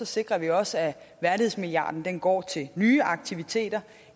sikrer vi også at værdighedsmilliarden går til nye aktiviteter